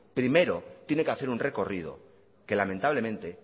primero tiene que hacer un recorrido que lamentablemente